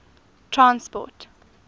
transport